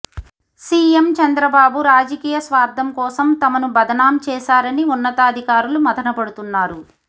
CM Chandrababu రాజకీయ స్వార్థం కోసం తమను బదనాం చేశారని ఉన్నతాధికారులు మథనపడుతున్నారు